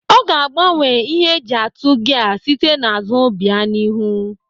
Ọ ga-agbanwe ihe eji atụ gia site n'azụ bịa n'ihu.